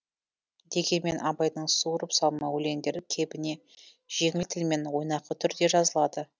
дегенмен абайдың суырып салма өлеңдері кебіне жеңіл тілмен ойнақы түрде жазылады